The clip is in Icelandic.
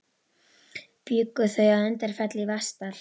Bjuggu þau að Undirfelli í Vatnsdal.